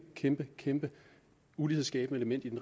kæmpe kæmpe ulighedsskabende element i den